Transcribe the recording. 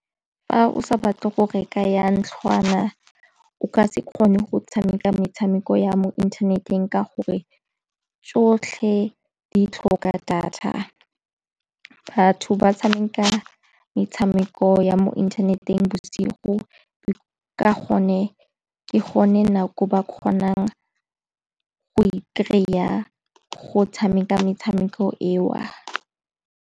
Fa o sa batle go reka ya ntlhwana o ka se kgone go tshameka metshameko ya mo inthaneteng ka gore tsotlhe di tlhoka data. Batho ba tshameka metshameko ya mo inthaneteng bosigo ka gonne ke gone nako e ba kgonang go e kry-a go tshameka metshameko eo.